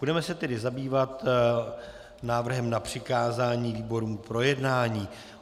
Budeme se tedy zabývat návrhem na přikázání výborům k projednání.